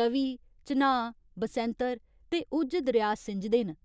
त'वी, चन्हाऽ, बसैंतर ते उज्ज दरेआ सिंजदे न।